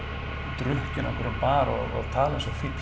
drukkinn á einhverjum bar og tala eins og fífl